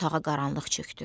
Otağa qaranlıq çökdü.